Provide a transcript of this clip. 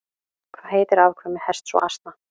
Hvað heitir afkvæmi hests og asna?